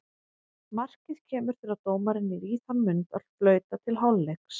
Markið kemur þegar dómarinn er í þann mund að flauta til hálfleiks.